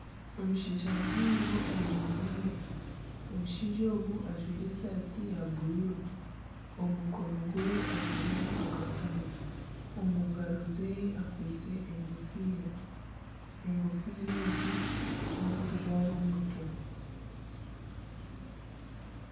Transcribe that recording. Omushaija muhango ayemereire omushaija ogu ajwaire esaati ya buruuru omu mukono gweye ajwairemu akakomo omu ngaro zeye akwitse egofiira, egofiira egi n'ey'okujwara omu mutwe.